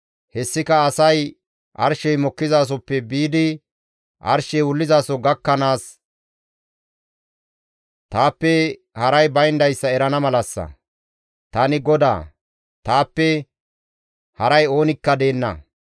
Hessika asay arshey mokkizasoppe biidi arshey wullizaso gakkanaas taappe haray bayndayssa erana malassa. Tani GODAA; taappe haray oonikka deenna.